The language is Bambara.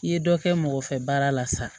I ye dɔ kɛ mɔgɔfɛ baara la sa